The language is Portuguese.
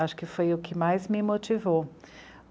Acho que foi o que mais me motivou.